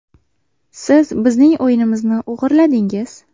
Siz bizning o‘yinimizni o‘g‘irladingiz.